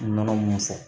Nɔnɔ mun fɔ